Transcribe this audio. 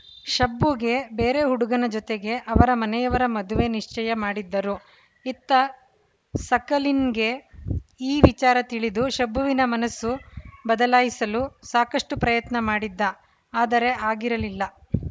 ಶಬ್ಬುಗೆ ಬೇರೆ ಹುಡುಗನ ಜೊತೆಗೆ ಅವರ ಮನೆಯವರ ಮದುವೆ ನಿಶ್ಚಯ ಮಾಡಿದ್ದರು ಇತ್ತ ಸಕಲಿನ್‌ಗೆ ಈ ವಿಚಾರ ತಿಳಿದು ಶಬ್ಬುವಿನ ಮನಸ್ಸು ಬದಲಾಯಿಸಲು ಸಾಕಷ್ಟುಪ್ರಯತ್ನ ಮಾಡಿದ್ದ ಆದರೆ ಆಗಿರಲಿಲ್ಲ